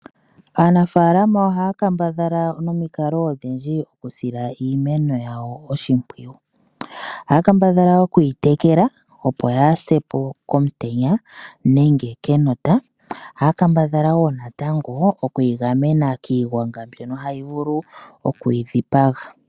Aanafaalama ohaa kambadhala nomikalo odhindji okusila iimeno yawo oshimpwiyu. Ohaa kambadhala okuyi tekela, opo yaase po komutenya nenge kenota, ohaa kambadhala wo natango okuyi gamena kiigwanga mbyono hayi vulu okuyi dhipaga.